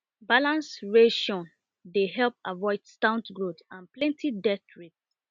balanced ration dey help avoid stunt growth and plenty death rate